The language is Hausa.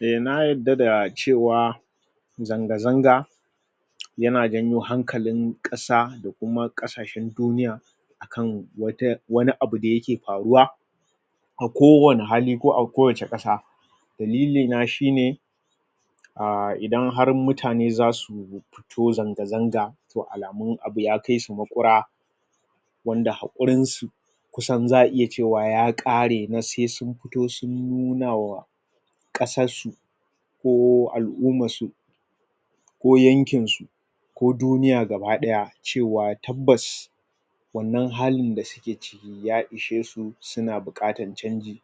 na yarda da cewa zanga zanga yana janyo hankalin ƙasa da kuma ƙasashen duniya kan wata wani abu dake faruwa tako wani hali ko a kowacce ƙasa dalilina shine a idan har mutane zasu fito zanga zanga alamu abu ya kaisu maƙura wanda haƙurin su kusan za'a iya cewa ya ƙare masu sai sun sai sun nunawa ƙasar su ko al'ummar su ko yankin su ko duniya gaba ɗaya cewa tabbas wannan halin da suke ciki ya ishesu suna buƙatar canji